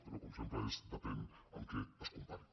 però com sempre és depèn amb què es compari